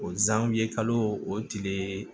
O ye kalo o tile